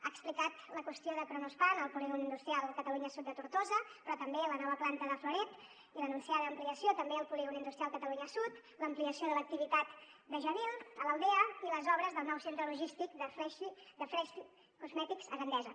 ha explicat la qüestió de kronospan al polígon industrial catalunya sud de tortosa però també la nova planta de florette i l’anunciada ampliació també al polígon industrial catalunya sud l’ampliació de l’activitat de jabil a l’aldea i les obres del nou centre logístic de freshly cosmetics a gandesa